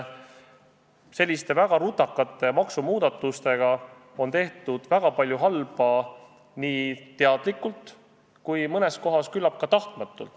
Selliste väga rutakate maksumuudatustega on tehtud väga palju halba, nii teadlikult kui mõnes kohas küllap ka tahtmatult.